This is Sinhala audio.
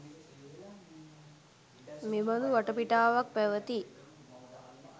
මෙබඳු වටපිටාවක් පැවැති